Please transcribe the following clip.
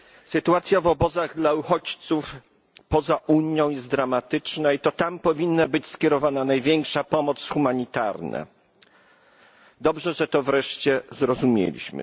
Sytuacja w obozach dla uchodźców poza Unią jest dramatyczna i to tam powinna być skierowana największa pomoc humanitarna. Dobrze, że to wreszcie zrozumieliśmy.